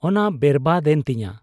ᱚᱱᱟ ᱵᱮᱨᱵᱟᱫᱽ ᱮᱱ ᱛᱤᱧᱟ ᱾